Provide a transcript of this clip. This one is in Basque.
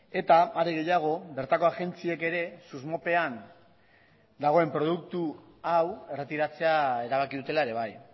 eta are gehiago bertako agentziek ere susmopean dagoen produktu hau erretiratzea erabaki dutela ere bai